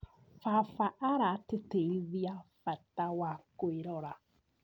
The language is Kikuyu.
Baba aratĩtĩrithia bata wa kwĩrora.